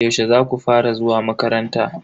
Yaushe zaku fara zuwa makaranta?